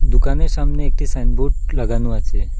দোকানের সামনে একটি সাইনবোর্ড লাগানো আছে।